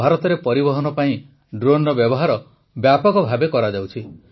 ଭାରତରେ ପରିବହନ ପାଇଁ ଡ୍ରୋନର ବ୍ୟବହାର ବ୍ୟାପକ ଭାବେ କରାଯାଉଛି